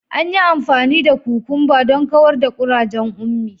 An yi amfani da kukumba don kawar da kurajen Ummi.